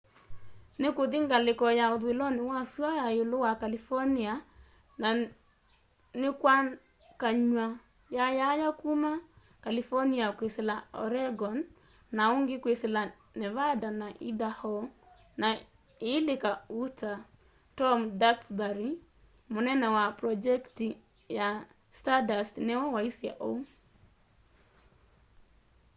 nikuthi ngaliko ya uthuiloni wa sua ya iulu wa california na nikwakany'a yayaya kuma california kwisila oregon na ungi kwisila nevada na idaho na iilika utah tom duxbury munene wa pronjekiti ya stardust niwe waisye uu